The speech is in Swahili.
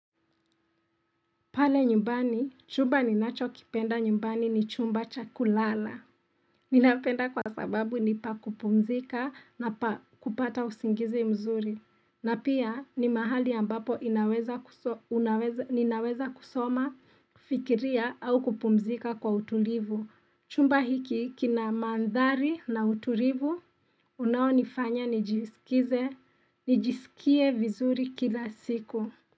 Pale nyumbani, chumba ninachokipenda nyumbani ni chumba chakulala. Ninapenda kwa sababu ni pa kupumzika na pa kupata usingizi mzuri. Na pia ni mahali ambapo inaweza kusoma, fikiria au kupumzika kwa utulivu. Chumba hiki kina mandhari na utulivu, unaonifanya nijisikize, nijisikie vizuri kila siku.